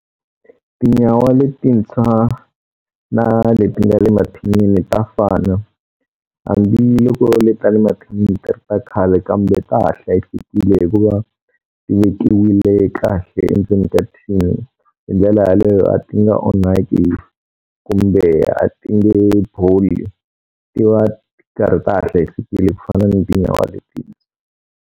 Tinyawa letintshwa na leti nga le mathinini ta fana, hambiloko leti nga le mathinini ti ri ta khale kambe ta ha hlayisekile hikuva ti vekiwile kahle endzeni ka thini. Hi ndlela yaleyo a ti nga onhaki kumbe a ti nge boli, ti va ti karhi ta ha hlayisekile ku fana ni tinyawa leti.